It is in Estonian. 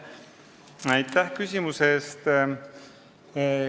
Aitäh küsimuse eest!